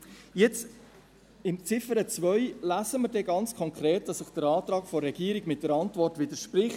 Jetzt, in Ziffer 2, lesen wir ganz konkret, dass der Antrag der Regierung der Antwort widerspricht.